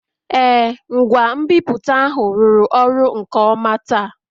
Ee, ngwa nbipute ahụ rụrụ ọrụ nke ọma taa